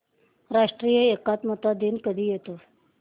राष्ट्रीय एकात्मता दिन कधी येतो